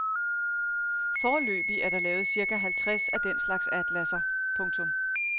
Foreløbig er der lavet cirka halvtreds af den slags atlasser. punktum